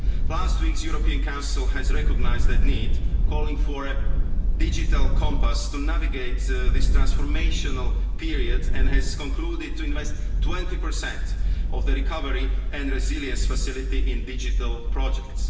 Last week's European Council recognised that need, calling for a digital compass to navigate this transformational period and has concluded to invest 20 of the Recovery and Resilience Facility in digital projects.